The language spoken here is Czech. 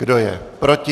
Kdo je proti?